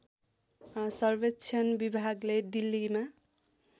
सर्वेक्षण विभागले दिल्लीमा